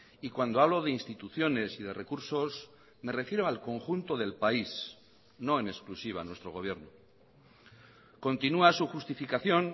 y cuando hablo de instituciones y de recursos me refiero al conjunto del país no en exclusiva a nuestro gobierno continúa su justificación